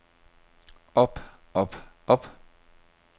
op op op